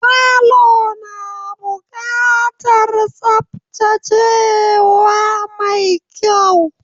Falo na buƙatar tsaftacewa mai kyau.